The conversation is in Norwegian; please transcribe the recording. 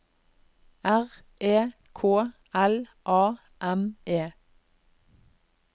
R E K L A M E